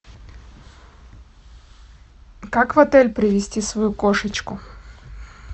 как в отель привезти свою кошечку